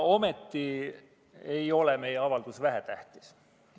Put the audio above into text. Ometi ei ole meie avaldus vähetähtis.